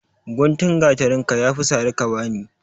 Guntun gatarin ka ya fi sari ka bani!